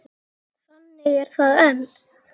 Þannig er það enn.